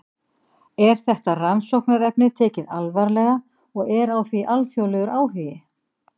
Er þetta rannsóknarefni tekið alvarlega og er á því alþjóðlegur áhugi?